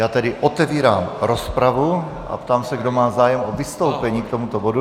Já tedy otevírám rozpravu a ptám se, kdo má zájem o vystoupení k tomuto bodu.